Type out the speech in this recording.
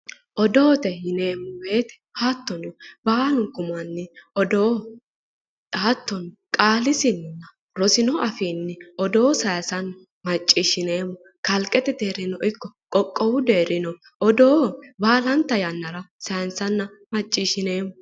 Odoo:-odoote yineemmo woyiitte hattono baalunku manni odoo hattono qaalisinninna afino qaalinni odoo sayinssanna maciishshineemmo kalqete deerininno ikko qoqqowu deerininoo odoo baalanta yannara sayinssanna maciishshineemmo.